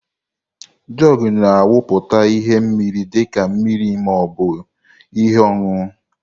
Jugu na awuputa ihe mmiri dị ka mmiri ma ọ bụ ihe ọṅụṅụ.